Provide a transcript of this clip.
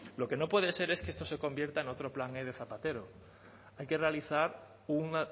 lo que no puede ser es que esto se convierta en otro plan e de zapatero hay que realizar un